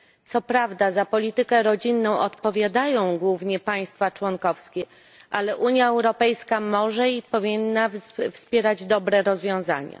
Co prawda za politykę rodzinną odpowiadają głównie państwa członkowskie, ale Unia Europejska może i powinna wspierać dobre rozwiązania.